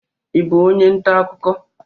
Ị bụ onye nta akụkọ?